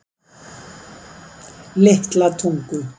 Litla Tungu